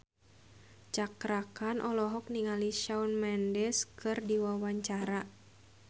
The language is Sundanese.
Cakra Khan olohok ningali Shawn Mendes keur diwawancara